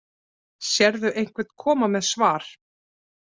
Sérðu einhvern koma með svar